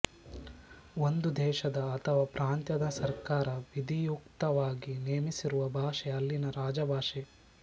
ಒಂದು ದೇಶದ ಅಥವಾ ಪ್ರಾಂತ್ಯದ ಸರ್ಕಾರ ವಿಧಿಯುಕ್ತವಾಗಿ ನೇಮಿಸಿರುವ ಭಾಷೆ ಅಲ್ಲಿನ ರಾಜಭಾಷೆ